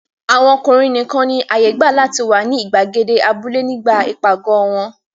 Àwọn ọkùnrin nìkan ni àyè gbà láti wà ní ìgbàgede abúlé nígbà ìpàgọ̀ wọn.